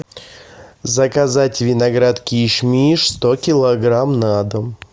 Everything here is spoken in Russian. заказать виноград киш миш сто килограмм на дом